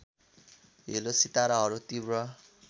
hello सिताराहरू तीव्र